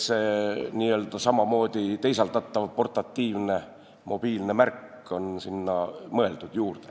See samamoodi teisaldatav portatiivne mobiilne märk on sinna juurde mõeldud, jah.